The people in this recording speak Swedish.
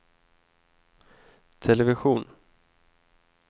television